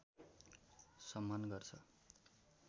सम्मान गर्छ